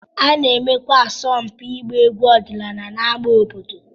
A na-emekwa asọmpi ịgba egwu ọdịnala n'ámá obodo.